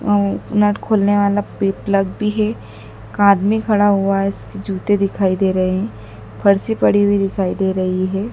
अ उ नट खोलने वाला पि प्लग भी है एक आदमी खड़ा हुआ है इसके जूते दिखाई दे रहे हैं फर्शी पड़ी हुई दिखाई दे रही है।